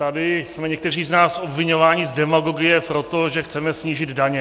Tady jsme někteří z nás obviňováni z demagogie proto, že chceme snížit daně.